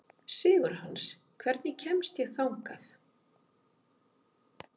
Sigurhans, hvernig kemst ég þangað?